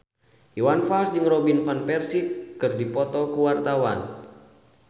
Iwan Fals jeung Robin Van Persie keur dipoto ku wartawan